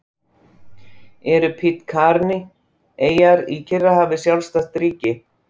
Eru Pitcairn-eyjar í Kyrrahafi sjálfstætt ríki?